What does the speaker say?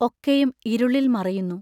ഒക്കെയും ഇരുളിൽ മറയുന്നു...